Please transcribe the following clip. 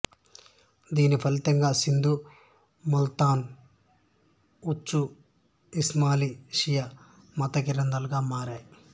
దీని ఫలితంగా సింధు ముల్తాను ఉచు ఇస్మాయిలీ షియా మత కేంద్రాలుగా మారాయి